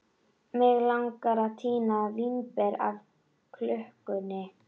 Mig langar að tína mér vínber af klukkunni.